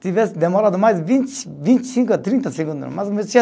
Se tivesse demorado mais vinte, vinte e cinco a trinta segundos, mais ou menos tinha